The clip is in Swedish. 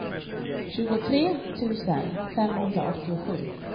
tjugotre tusen femhundraåttiosju